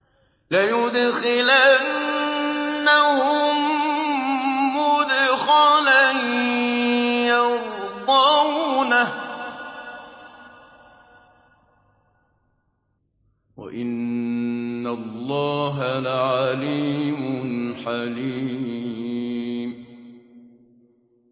لَيُدْخِلَنَّهُم مُّدْخَلًا يَرْضَوْنَهُ ۗ وَإِنَّ اللَّهَ لَعَلِيمٌ حَلِيمٌ